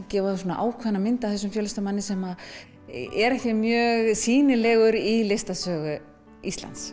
gefa ákveðna mynd af þessum fjöllistamanni sem er ekki mjög sýnilegur í listasögu Íslands